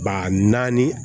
Ba naani